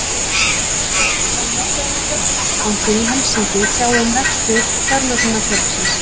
Gert er ráð fyrir að Norræni fjárfestingarbankinn í Helsinki sjái um rekstur fjármögnunarfélagsins.